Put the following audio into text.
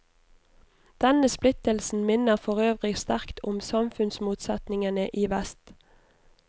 Denne splittelsen minner forøvrig sterkt om samfunnsmotsetningene i vest.